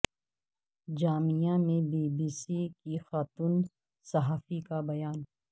جامعہ میں B B C کی خاتون صحافی کا بیان